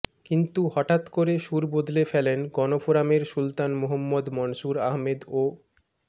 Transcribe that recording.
কিন্তু হঠাৎ করে সুর বদলে ফেলেন গণফোরামের সুলতান মোহাম্মদ মনসুর আহমেদ ও মো